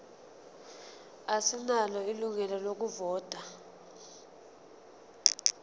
asinalo ilungelo lokuvota